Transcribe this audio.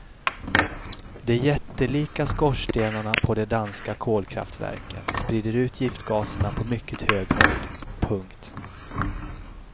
De jättelika skorstenarna på de danska kolkraftverken sprider ut giftgaserna på mycket hög höjd. punkt